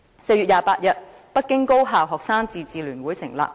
4月28日，北京高校學生自治聯會成立。